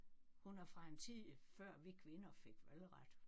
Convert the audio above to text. Hun er fra en tid før vi kvinder fik valgret